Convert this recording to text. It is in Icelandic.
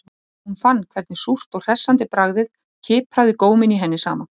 Áhrif eitrunarinnar sjást vel á myndunum.